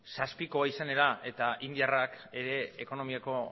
zazpikoa izan da eta indiarrek ere ekonomiako